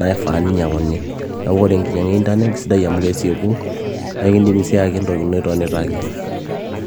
naifaa nainyiang'uni neeku ore enkinyiang'a e internet keisidai amu kesieku naa ekindimii sii aayake entoki ino itonita ake.